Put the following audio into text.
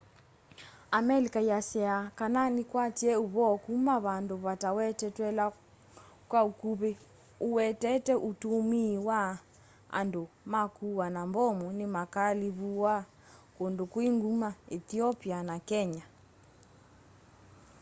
amelika ĩasya kana nĩkwatie ũvoo kuma vandu vatawetetweula kwa ukuvi uwetete utumii wa andu ma kuaa na mbomu nimakaalivua kundu kwi nguma ethiopia na kenya